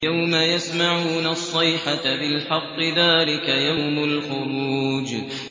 يَوْمَ يَسْمَعُونَ الصَّيْحَةَ بِالْحَقِّ ۚ ذَٰلِكَ يَوْمُ الْخُرُوجِ